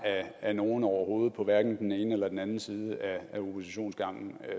ad nogen overhovedet på hverken den ene eller den anden side af oppositionsgangen